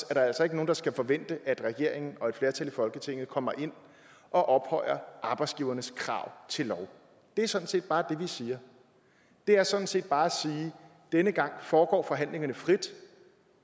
der altså ikke nogen der skal forvente at regeringen og et flertal i folketinget kommer ind og ophøjer arbejdsgivernes krav til lov det er sådan set bare det vi siger det er sådan set bare at sige denne gang foregår forhandlingerne frit